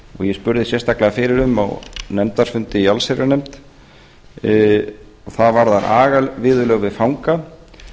ég spurðist sérstaklega fyrir um á nefndarfundi í allsherjarnefnd það varðar agaviðurlög við fanga að